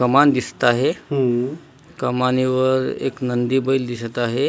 कमान दिसता हे कमानेवर एक नंदी बैल दिसत आहे.